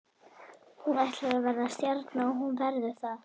Hún ætlar að verða stjarna og hún verður það.